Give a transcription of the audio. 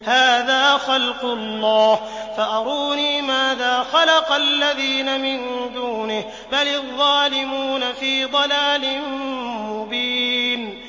هَٰذَا خَلْقُ اللَّهِ فَأَرُونِي مَاذَا خَلَقَ الَّذِينَ مِن دُونِهِ ۚ بَلِ الظَّالِمُونَ فِي ضَلَالٍ مُّبِينٍ